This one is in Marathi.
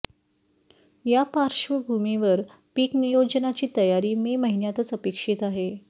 या पार्श्वभूमीवर पीकनियोजनाची तयारी मे महिन्यातच अपेक्षित आहे